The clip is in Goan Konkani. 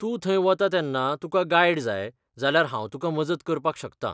तूं थंय वता तेन्ना तुका गायड जाय, जाल्यार हांव तुका मजत करपाक शकतां.